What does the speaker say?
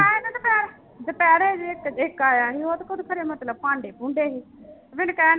ਦੁਪਹਿਰੇ ਜਿਹੇ ਇੱਕ ਇੱਕ ਆਇਆ ਸੀ ਉਹ ਮਤਲਬ ਭਾਂਡੇ ਭੂੰਡੇ ਸੀ ਮੈਨੂੰ ਕਹਿਣਡੇ